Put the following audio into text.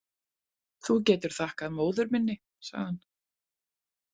Þú getur þakkað móður minni, sagði hann.